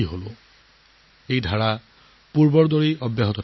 এতিয়া এই ধাৰা আগৰ দৰেই আকৌ চলি থাকিব